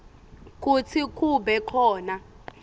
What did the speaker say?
kutsi kube khona